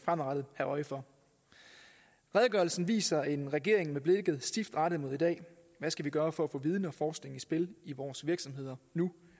øje for redegørelsen viser en regering med blikket stift rettet mod i dag hvad skal vi gøre for at få viden og forskning i spil i vores virksomheder nu